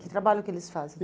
Que trabalho que eles fazem?